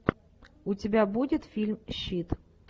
у тебя будет фильм щит